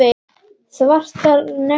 Svartar neglur.